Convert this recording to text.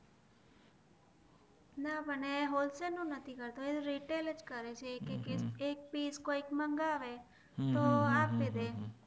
ના મને હોલસેલ નું નથી ખબરકરે છે કે એક પીશ કોઈક મગાવે તો આપી દે